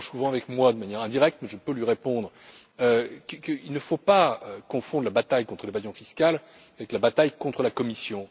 Elle échange souvent avec moi de manière indirecte, mais je peux lui répondre qu'il ne faut pas confondre la bataille contre l'évasion fiscale et la bataille contre la Commission.